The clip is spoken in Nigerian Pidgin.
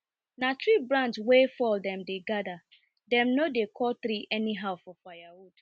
na tree branch wey fall dem dey gather dem no dey cut tree anyhow for firewood